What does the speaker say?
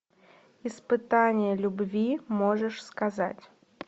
испытание любви можешь сказать